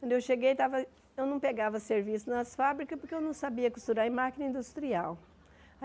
Quando eu cheguei, estava eu não pegava serviço nas fábricas porque eu não sabia costurar em máquina industrial.